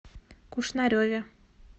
кушнареве